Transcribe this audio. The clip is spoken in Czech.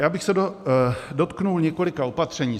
Já bych se dotkl několika opatření.